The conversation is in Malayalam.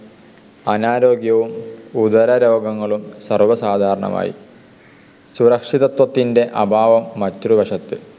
അനാരോഗ്യവും ഉദരരോഗങ്ങളും സർവസാധാരണമായി. സുരക്ഷിതത്വത്തിൻ്റെ അഭാവം മറ്റൊരു വശത്ത്.